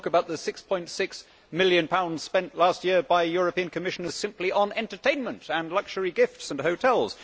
I could talk about the GBP 6.6 million spent last year by European Commissioners simply on entertainment and luxury gifts and hotels.